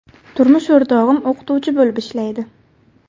Turmush o‘rtog‘im o‘qituvchi bo‘lib ishlaydi.